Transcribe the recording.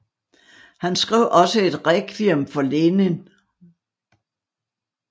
Han skrev også et rekviem for Lenin